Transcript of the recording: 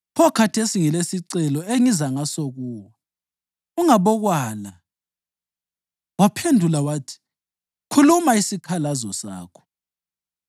Pho khathesi ngilesicelo engiza ngaso kuwe. Ungabokwala.” Waphendula wathi, “Khuluma isikhalazo sakho.”